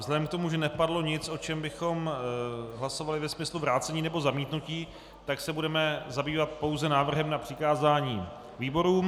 Vzhledem k tomu, že nepadlo nic, o čem bychom hlasovali ve smyslu vrácení nebo zamítnutí, tak se budeme zabývat pouze návrhem na přikázání výborům.